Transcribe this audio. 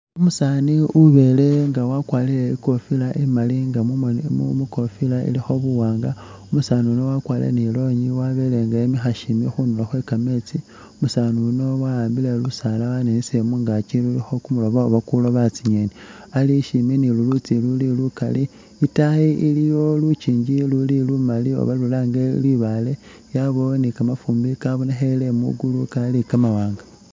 Umusaani ubelenga wakwarile ikofila imaali nga mumoni mukofila ilikho buwanga umusaani yuuno wakwarile ni lonyi wabelenga wemikha shimbi khundulo khwe kameetsi umusaani yuuno wa'ambile lusaala waninisile mungaakyi lulikho kumulobo oba kuloba tsi'ngeni Ali shimbi ni lulutsi luli lukaali, itaayi iliyo lukyinji luli lukaali oba lulange libaale yabawo ni kamafumbi khabonekhele mugulu Kali kamawanga